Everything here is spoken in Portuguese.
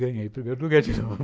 Ganhei o primeiro lugar de novo.